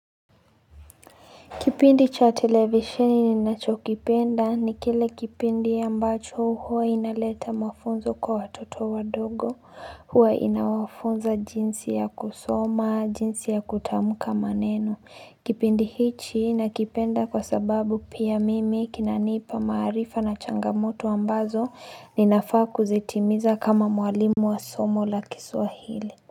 Kipindi cha televisheni ninachokipenda ni kile kipindi ambacho huwa inaleta mafunzo kwa watoto wadogo, huwa inawafunza jinsi ya kusoma, jinsi ya kutamka maneno Kipindi hichi nakipenda kwa sababu pia mimi kinanipa marifa na changamoto ambazo ninafaa kuzitimiza kama mwalimu wa somo la kiswahili.